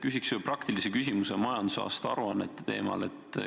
Küsin ühe praktilise küsimuse majandusaasta aruannete teemal.